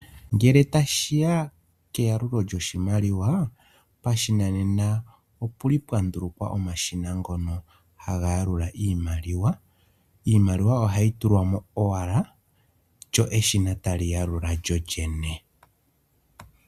Ngele ta shiya keyalulo lyoshimaliwa, pashinanena opu li pwandulikwa omashina ngono ha ga yalula iimaliwa. Iimaliwa oha yi tulwamo owala, lyo eshina ta li yalula lyolyene.